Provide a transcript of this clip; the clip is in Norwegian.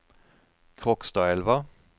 Krokstadelva